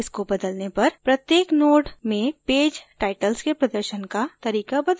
इसको बदलने पर प्रत्येक node में पेज टाइटल्स के प्रदर्शन का तरीका बदल जायेगा